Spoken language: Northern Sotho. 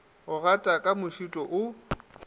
go gata ka mošito o